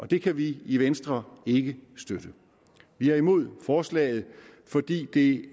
det kan vi i venstre ikke støtte vi er imod forslaget fordi det